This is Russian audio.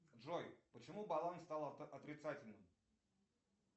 джой почему баланс стал отрицательным